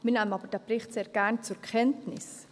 Wir nehmen aber diesen Bericht sehr gern zur Kenntnis.